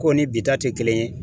K'o ni bi ta te kelen ye